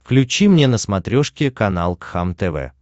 включи мне на смотрешке канал кхлм тв